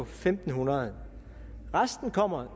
fem hundrede resten kommer